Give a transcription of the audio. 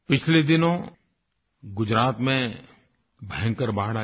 पिछले दिनों गुजरात में भयंकर बाढ़ आई